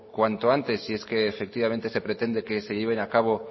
cuanto antes si es que efectivamente se pretende que se lleven a cabo